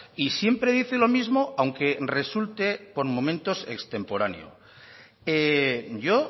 y siempre dice lo mismo aunque resulte por momentos extemporáneo yo